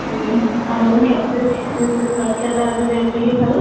ଉଁ ଆମର subject ବିଷୟରେ ଚର୍ଚାତା ଆଜି ଯାଏ ଏତିକି ଥାଉ